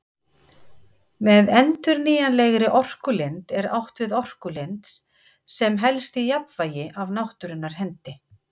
Með endurnýjanlegri orkulind er átt við orkulind sem helst í jafnvægi af náttúrunnar hendi.